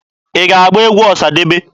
Ị ga-agba egwu Ọsadebe?